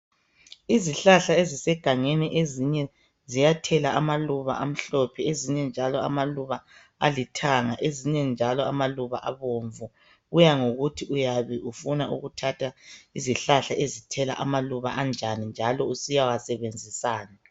Izihlahla esisegangeni ezinye ziyathela amaluba amhlophe, ezinye njalo amaluba alithanga, ezinye njalo amaluba abomvu. Kuyangokuthi uyabe ufuna ukuthatha izihlahla ezithela amaluba anjani njalo usiyawasebenzisani.